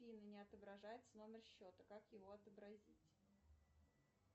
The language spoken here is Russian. афина не отображается номер счета как его отобразить